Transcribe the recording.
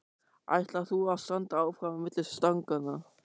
Ætlar þú að standa áfram á milli stanganna?